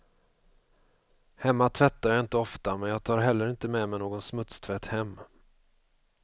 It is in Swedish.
Hemma tvättar jag inte ofta, men jag tar heller inte med mig någon smutstvätt hem.